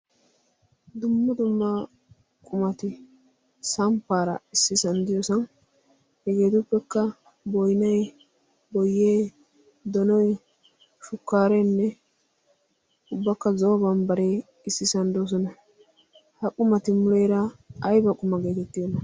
dummu dumma qumati samppaara issi sanddiyosan hegeetuppekka boinay boyee donoi shukkaareenne ubbakka zooban baree issi sanddoosona ha qumati muleera aiba quma geetettidona?